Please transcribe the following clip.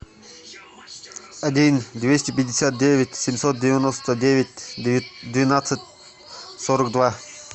один двести пятьдесят девять семьсот девяносто девять двенадцать сорок два